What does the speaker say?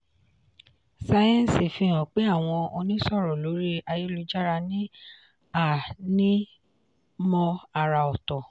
sáyẹ́ǹsì fi hàn pé àwọn onísọ̀rọ̀ lórí ayélujára ní ànímọ́ àrà ọ̀tọ̀.